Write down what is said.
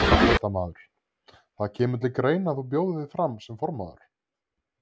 Fréttamaður: Það kemur til greina að þú bjóðir þig fram sem formaður?